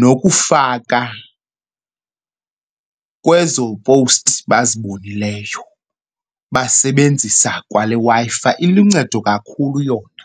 nokufaka kwezo powusti bazibonileyo basebenzisa kwale Wi-Fi. Iluncedo kakhulu yona.